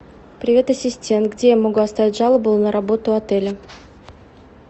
привет ассистент где я могу оставить жалобу на работу отеля